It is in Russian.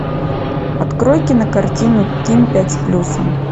открой кинокартину ким пять с плюсом